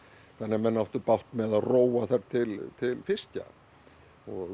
þannig að menn áttu bágt með að róa þar til fiskjar